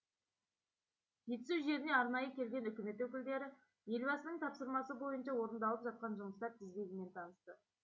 жетісу жеріне арнайы келген үкімет өкілдері елбасының тапсырмасы бойынша орындалып жатқан жұмыстар тізбегімен танысты